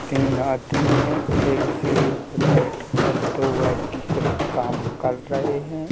तीन आदमी है एक सीढ़ी पे बैठकर दो आदमी कुछ काम कर रहे हैं।